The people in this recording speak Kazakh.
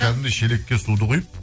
кәдімгідей шелекке суды құйып